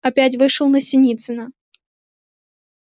опять вышел на синицына